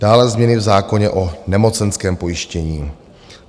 Dále změny v zákoně o nemocenském pojištění.